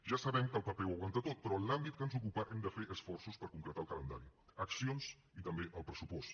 ja sabem que el paper ho aguanta tot però en l’àmbit que ens ocupa hem de fer esforços per concretar el calendari accions i també el pressupost